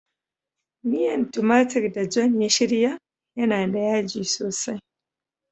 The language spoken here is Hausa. Miyan tumatur da "John" ya shirya yana da yaji sosai.